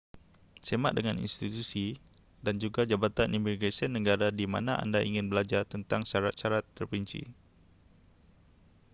semak dengan institusi dan juga jabatan imigresen negara di mana anda ingin belajar tentang syarat-syarat terperinci